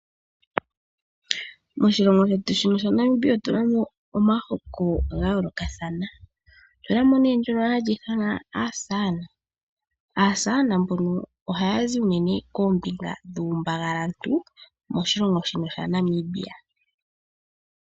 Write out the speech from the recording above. Moshilongo shetu shaNamibia otuna mo omihoko dha yoolokathana. Otuna mo nee ngono hagu ithanwa aakwankala . Aakwankala ohaya zi nee koombinga ndhono dhokuumbangalantu waNamibia.